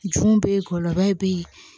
Jun bɛ ye gɔlɔbɛ bɛ yen